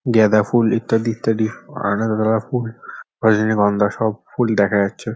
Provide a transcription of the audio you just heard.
গাদাঁ ফুল ইত্যাদি ইত্যাদি অনেক ধরণের ফুল রজনীগন্ধা সব ফুল দেখা যাচ্ছে ।